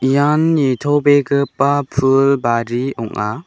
ian nitobegipa pul bari ong·a.